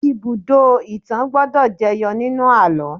Ibùdó-ìtàn gbọ́dọ̀ jẹyọ nínú àlọ́